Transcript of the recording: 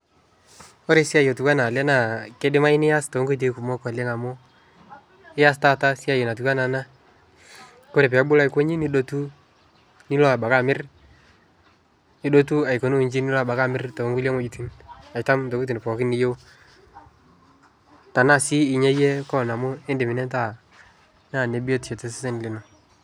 Ore esia natiui enaa ele naa keidimai nias too nkoitoi kumok oleng amu ias taata esiai natiu ana ena kore pee ebulu aiko inje nidotu, nilo abaiki amir, idotu abaiki aikunuu inchi nilo amir toonkulie wejitin aitam itokitin pookin niyeu, tenaa sii enya iyie koan indim nintaa naa nebiotisho oleng tosesen lino.